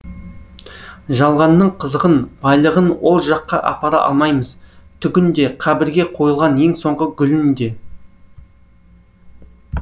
жалғанның қызығын байлығын ол жаққа апара алмаймыз түгін де қабірге қойылған ең соңғы гүлін де